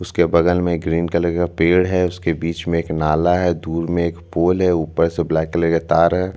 photo में एक बड़ा सा बिल्डिंग दिखाई दे रहा है जिसका कलर येलो और रेड में है उसके ऊपर में वाइट कलर का बोर्ड लगा हुआ है उसके ऊपर में ब्लू कलर से लिखा हुआ है नगर पंचायत --